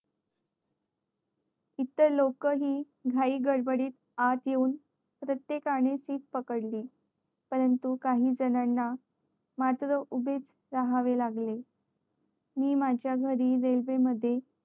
इतर लोक हि घाई गडबडीत आत येऊन प्रेत्येकाने seat पकडली परंतु काही जणांना मात्र उभे च राहावे लागले मी माझ्या घरी रेल्वे ने येते